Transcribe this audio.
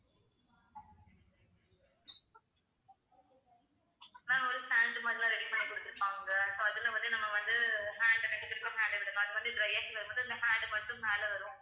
ma'am ஒரு hand மாறிலாம் ready பண்ணி குடுத்துருப்பாங்க இப்போ அதுல வந்து நம்ம வந்து hand அ கட்டிக்கிட்டு hand அ விடணும் அது வந்து dry ஆகி வரும் போது அந்த hand மட்டும் மேல வரும்